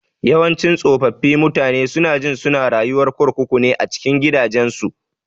Yawanci tsofaffi mutane sunajin suna rayuwar kurkuku ne a cikin gidajensu.